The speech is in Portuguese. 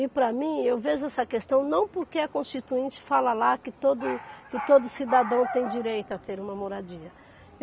E para mim, eu vejo essa questão não porque a constituinte fala lá que todo, que todo cidadão tem direito a ter uma moradia.